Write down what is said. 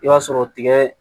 I b'a sɔrɔ tigɛ